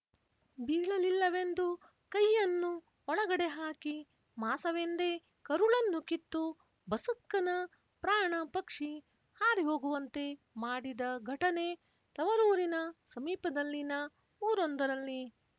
ಬೀಳಲಿಲ್ಲವೆಂದು ಕೈಯನ್ನು ಒಳಗಡೆ ಹಾಕಿ ಮಾಸವೆಂದೇ ಕರುಳನ್ನು ಕಿತ್ತು ಬಸಕ್ಕನ ಪ್ರಾಣ ಪಕ್ಷಿ ಹಾರಿಹೋಗುವಂತೆ ಮಾಡಿದ ಘಟನೆ ತವರೂರಿನ ಸಮೀಪದಲ್ಲಿನ ಊರೊಂದರಲ್ಲಿ